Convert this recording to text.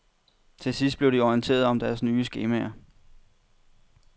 Til sidst blev de orienteret om deres nye skemaer.